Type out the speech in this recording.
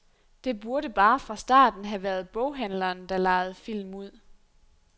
Det burde bare fra starten have været boghandleren, der lejede film ud.